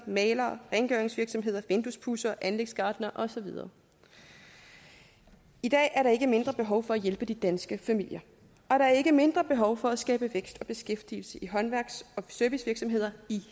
mæglere rengøringsvirksomheder vinduespudsere anlægsgartnere og så videre i dag er der ikke mindre behov for at hjælpe de danske familier og der er ikke mindre behov for at skabe vækst og beskæftigelse i håndværks og servicevirksomheder i